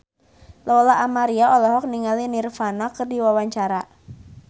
Lola Amaria olohok ningali Nirvana keur diwawancara